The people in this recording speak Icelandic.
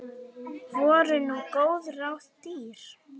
Voru nú góð ráð dýr.